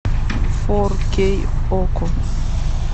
фор кей окко